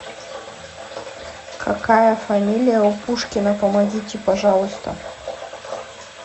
какая фамилия у пушкина помогите пожалуйста